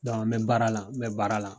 n mɛ baara la, n mɛ baara la